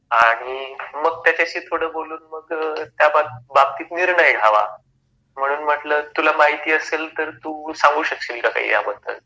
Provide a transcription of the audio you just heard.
आणि मग त्याच्याशी थोड बोलून मग त्या बाबतीत निर्णय घ्यावा. म्हणून म्हटल तुला माहिती असेल तर तू सांगू शकशील का काही या बद्दल?